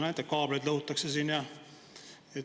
Näete, kaableid lõhutakse siin ja …